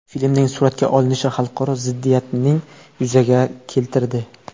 Filmning suratga olinishi xalqaro ziddiyatning yuzaga keltirdi.